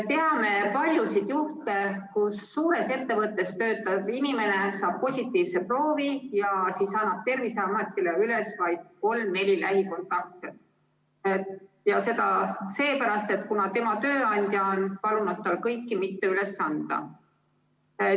Teame paljusid juhtumeid, kus suures ettevõttes töötav inimene saab positiivse proovi ja siis annab Terviseametile üles vaid kolm-neli lähikontaktset, sest tema tööandja on palunud tal kõiki mitte üles anda.